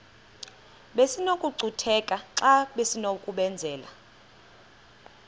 besinokucutheka xa besinokubenzela